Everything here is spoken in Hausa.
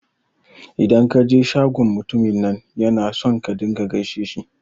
Idan ka je shagon mutumin nan yana son ka rinƙa gaishe shi